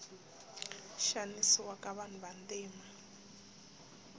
xanisiwa ka vanhu vantima